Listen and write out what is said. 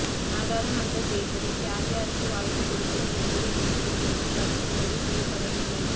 நாடாளுமன்ற தேர்தலில் யார் யாருக்கு வாய்ப்பு கொடுப்பது என்பது குறித்தும் இன்னும் கட்சி முடிவு செய்யப்படவில்லை